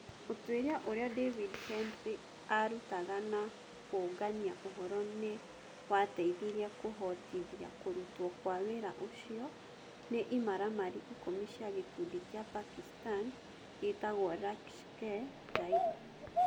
Ũtuĩria ũrĩa David Headley aarutaga na kũũngania ũhoro nĩ wateithirie kũhotithia kũrutwo kwa wĩra ũcio nĩ imaramari ikũmi cia gĩkundi kĩa Pakistani gĩtagwo Laskhar-e-Taiba.